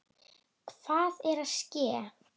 Hvað er að ske?